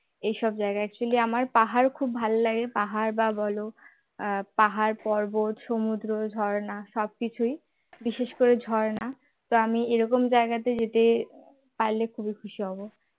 এই সব জায়গায় actually আমার পাহাড় খুব ভাল লাগে পাহাড় বা বল পাহাড় পর্বত সমুদ্র ঝরনা সবকিছুই বিশেষ করে ঝরনা তো আমি এরকম জায়গাতে যেতে পারলে খুব খুশি হব